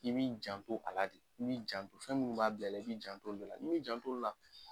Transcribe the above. I b'i janto a la de, i b'i jant fɛn munnu b'a bil'i la i b'i jant'olu le la. N'i m'i jant'olu la